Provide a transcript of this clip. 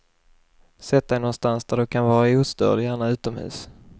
Sätt dig någonstans där du kan vara ostörd, gärna utomhus.